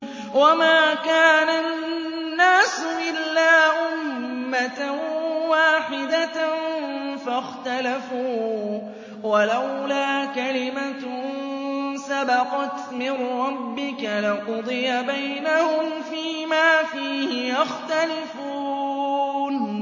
وَمَا كَانَ النَّاسُ إِلَّا أُمَّةً وَاحِدَةً فَاخْتَلَفُوا ۚ وَلَوْلَا كَلِمَةٌ سَبَقَتْ مِن رَّبِّكَ لَقُضِيَ بَيْنَهُمْ فِيمَا فِيهِ يَخْتَلِفُونَ